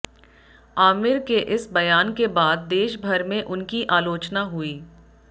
आमिर के इस बयान के बाद देशभर में उनकी आलोचना हुई